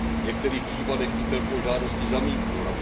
V některých případech Interpol žádosti zamítnul.